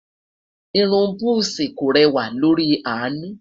irún buzi kò rẹwa lórí anu